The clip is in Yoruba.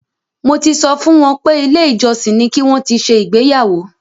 Mo ti sọ fún wọn pé ilé ìjọsìn ni ki wọn ti ṣe ìgbéyàwó.